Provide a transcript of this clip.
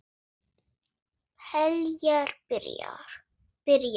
Heljar, byrjaði hann.